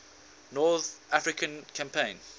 north african campaign